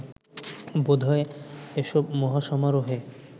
বোধহয় এসব মহাসমারোহে